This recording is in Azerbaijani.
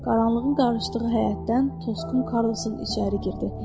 Qaranlığın qarışdığı həyətdən Tosqun Karlson içəri girdi.